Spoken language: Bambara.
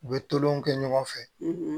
U bɛ tolonw kɛ ɲɔgɔn fɛ